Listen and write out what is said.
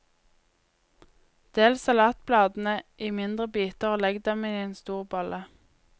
Del salatbladene i mindre biter og legg dem i en stor bolle.